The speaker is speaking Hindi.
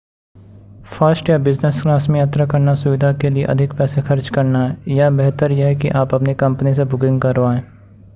फर्स्ट या बिज़नस क्लास में यात्रा करना सुविधा के लिए अधिक पैसे खर्च करना है या बेहतर यह है कि आप अपनी कंपनी से बुकिंग करवाएँ